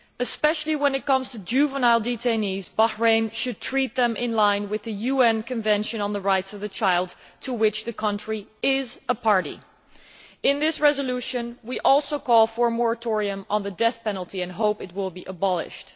Especially when it comes to juvenile detainees, Bahrain should treat them in line with the UN Convention on the Rights of the Child, to which the country is a party. In this resolution we also call for a moratorium on the death penalty and hope it will be abolished.